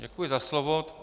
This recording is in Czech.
Děkuji za slovo.